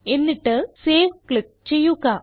എന്നിട്ട് save click ചെയ്യുക